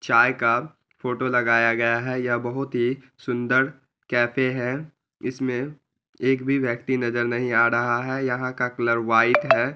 चाय का फोटो लगाया गया है| यह बहुत ही सुंदर कैफ़े है| इसमें एक भी व्यक्ति नज़र नहीं आ रहा है| यहाँ का कलर व्हाइट है।